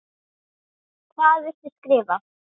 Hvað viltu skrifa?